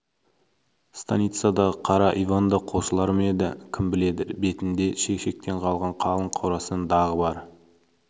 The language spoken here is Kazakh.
станицадағы қара иван да қосылар ма еді кім біледі бетінде шешектен қалған қалың қорасан дағы бар